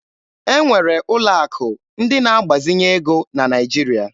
E nwere ụlọ akụ ndị na agbazinye ego na Naịjirịa.